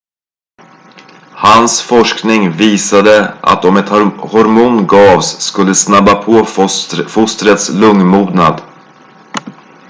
hans forskning visade att om ett hormon gavs skulle det snabba på fostrets lungmognad